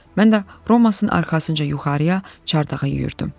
Mən də Romasın arxasınca yuxarıya, çardağa yüyürdüm.